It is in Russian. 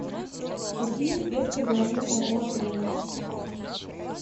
какие спецпредложения у отеля